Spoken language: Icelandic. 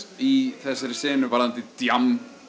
í þessari senu varðandi djamm